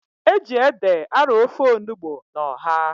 E ji ede arọ ofe onugbu na ọha.